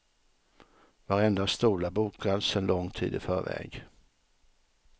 Varenda stol är bokad sen lång tid i förväg.